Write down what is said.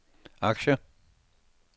aktier